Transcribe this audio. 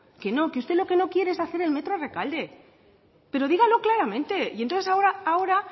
que no que usted lo que no quiere es hacer el metro a rekalde pero dígalo claramente y entonces ahora